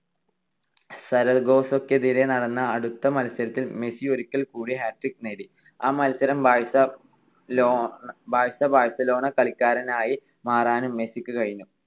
സരഗോസക്കെതിരായി നടന്ന അടുത്ത മത്സരത്തിൽ മെസ്സി ഒരിക്കൽ കൂടി hat trick നേടി. ആ മത്സരം ബാഴ്സ ~ ബാഴ്സ - ബാഴ്സലോണ കളിക്കാരനായി മാറാനും മെസ്സിക്ക് കഴിഞ്ഞു.